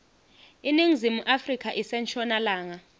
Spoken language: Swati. iningizimu afrika ise nshonalanga